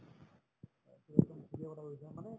এইটো একদম ঠিকে কথা কৈছা মানে